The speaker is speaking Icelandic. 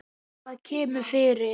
Það kemur fyrir.